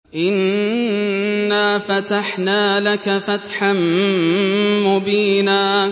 إِنَّا فَتَحْنَا لَكَ فَتْحًا مُّبِينًا